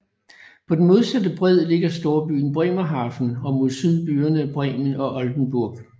På den modsatte bred ligger storbyen Bremerhaven og mod syd byerne Bremen og Oldenburg